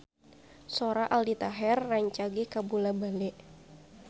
Sora Aldi Taher rancage kabula-bale